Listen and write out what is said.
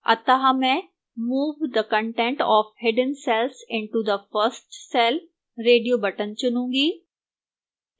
अतः मैं move the content of hidden cells into the first cell radio button चुनूंगी